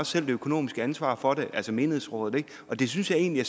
selv det økonomiske ansvar for det altså menighedsrådet ikke og det synes jeg egentlig